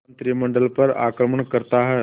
मंत्रिमंडल पर आक्रमण करता है